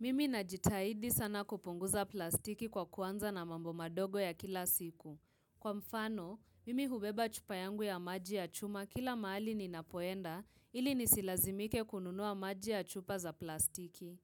Mimi najitahidi sana kupunguza plastiki kwa kuanza na mambo madogo ya kila siku. Kwa mfano, mimi hubeba chupa yangu ya maji ya chuma kila mahali ninapoenda ili nisilazimike kununua maji ya chupa za plastiki.